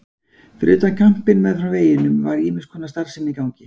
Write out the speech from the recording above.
Fyrir utan kampinn meðfram veginum var ýmiss konar starfsemi í gangi.